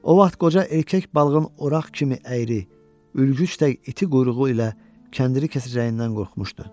O vaxt qoca erkək balığın oraq kimi əyri, ülgüc tək iti quyruğu ilə kəndiri kəsəcəyindən qorxmuşdu.